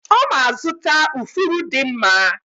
Oma azụta ufuru di mma.